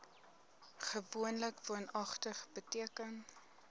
gewoonlik woonagtig beteken